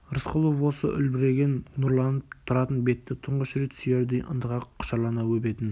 рысқұлов осы үлбіреген нұрланып тұратын бетті тұңғыш рет сүйердей ынтыға құшырлана өбетін